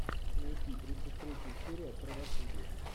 найти тридцать третья серия правосудие